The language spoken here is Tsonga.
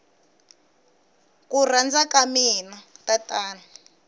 ku rhandza ka mina tatana